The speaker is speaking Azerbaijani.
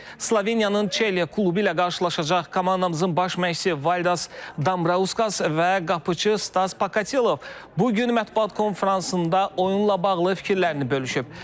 Sloveniyanın Çelye klubu ilə qarşılaşacaq komandamızın baş məşqçisi Valdas Dambrauskas və qapıçı Stas Pakatelov bu gün mətbuat konfransında oyunla bağlı fikirlərini bölüşüb.